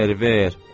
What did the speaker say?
Ver, ver.